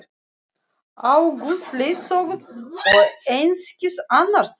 Á Guðs leiðsögn og einskis annars!